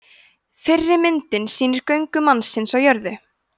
fyrri myndin sýnir göngu mannsins á jörðu